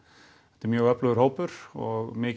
þetta er mjög öflugur hópur og mikil